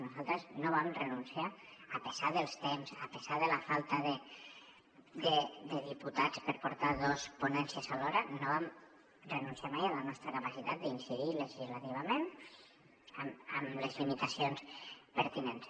nosaltres a pesar dels temps a pesar de la falta de diputats per portar dos ponències alhora no vam renunciar mai a la nostra capacitat d’incidir legislativament amb les limitacions pertinents